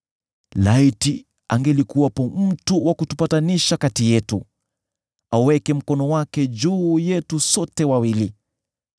Laiti angelikuwepo mtu wa kutupatanisha kati yetu, aweke mkono wake juu yetu sote wawili,